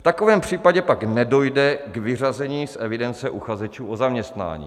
V takovém případě pak nedojde k vyřazení z evidence uchazečů o zaměstnání.